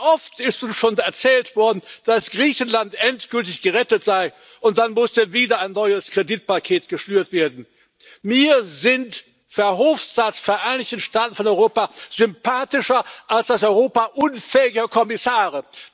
Wie oft ist uns schon erzählt worden, dass Griechenland endgültig gerettet sei, und dann musste wieder ein neues Kreditpaket geschnürt werden. Mir sind Verhofstadts Vereinigte Staaten von Europa sympathischer als das Europa unfähiger Kommissare.